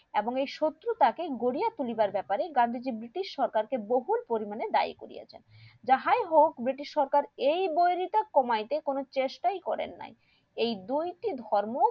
এবং এই শত্রুতা কে গড়িয়া তুলিবার ব্যাপারে গান্ধীজি ব্রিটিশ সরকার কে বহুল পরিমানে দায়ী করিয়াছেন যাহাই হোক ব্রিটিশ সরকার এই কমাতে কোনো চেষ্টাই করেন নাই এই দুই টি ধর্ম